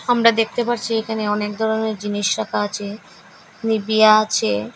আমরা দেখতে পারছি একানে অনেক দরনের জিনিস রাকা আচে নিবিয়া আছে।